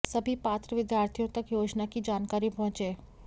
सभी पात्र विद्यार्थियों तक योजना की जानकारी पहुँचे